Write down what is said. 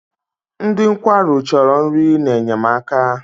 Ndị nkwarụ chọrọ nri na-enyemaka.